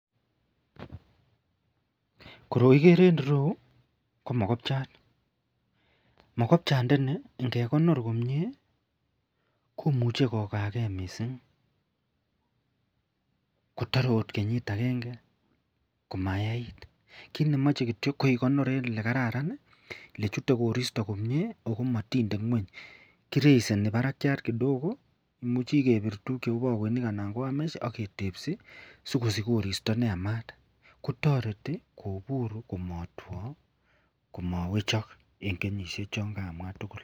Koroi igere en yu ko mokopchat. Mokopchandani nge konor komye komuchi kokaa ge missing, kotar angot kenyit agenge komayait. Kiit ne mache kityo ko ikonor eng,' ole kararan, ole chute korsito komye ako matinde ng'wany. Kiraiseni parakchat kidogo ,imucui kepir tuguuk che u pakoinik anan ko wiremesh aketepee si kosich koristo ne yamat kotareti kokonu komatwa, komawechok eng' kenyishek chon kaamwa tugul.